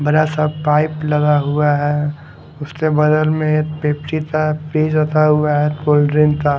बड़ा सा पाइप लगा हुआ है उसके बगल में एक पेप्सी का रखा हुआ है कोल्ड ड्रिंक का --